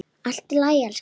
Allt í lagi, elskan.